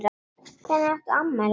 Hvenær átt þú afmæli?